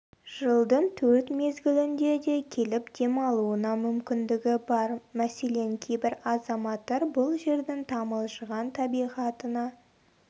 жылдың төрт мезгілінде де келіп демалуына мүмкіндігі бар мәселен кейбір азаматтар бұл жердің тамылжыған табиғатына